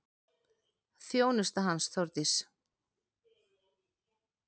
Þjónusta hans, Þórdís